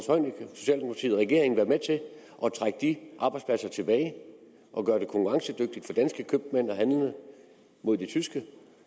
regeringen være med til at trække de arbejdspladser tilbage og gøre det konkurrencedygtigt for danske købmænd at handle mod de tyske